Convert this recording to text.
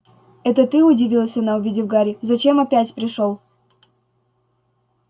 это ты удивилась она увидев гарри зачем опять пришёл